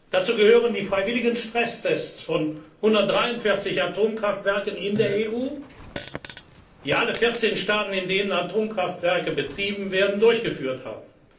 sicherer zu machen. Dazu gehören die freiwilligen Stresstests von 143 Atomkraftwerken in der EU, die alle 14 Mitgliedsstaaten, in denen Atomkraftwerke betrieben werden,